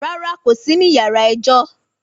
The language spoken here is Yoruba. Rárá kò sí ní yàrá ẹjọ́